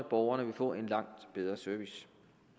borgerne vil få en langt bedre service